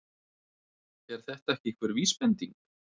Er þetta ekki einhver vísbending?